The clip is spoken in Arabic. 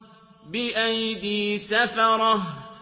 بِأَيْدِي سَفَرَةٍ